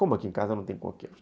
Como aqui em casa não tem coqueiros?